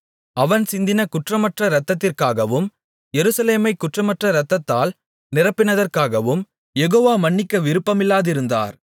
அவன் சிந்தின குற்றமற்ற இரத்தத்திற்காகவும் எருசலேமைக் குற்றமற்ற இரத்தத்தால் நிரப்பினதற்காகவும் யெகோவா மன்னிக்க விருப்பமில்லாதிருந்தார்